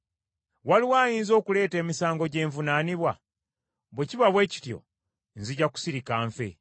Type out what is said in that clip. Waliwo ayinza okuleeta emisango gye nvunaanibwa? Bwe kiba bwe kityo, nzija kusirika nfe.